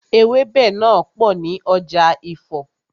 Ewẹ́bẹ̀ náà pò ní ọjà Ifo.